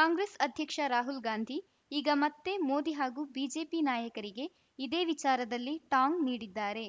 ಕಾಂಗ್ರೆಸ್‌ ಅಧ್ಯಕ್ಷ ರಾಹುಲ್‌ ಗಾಂಧಿ ಈಗ ಮತ್ತೆ ಮೋದಿ ಹಾಗೂ ಬಿಜೆಪಿ ನಾಯಕರಿಗೆ ಇದೇ ವಿಚಾರದಲ್ಲಿ ಟಾಂಗ್‌ ನೀಡಿದ್ದಾರೆ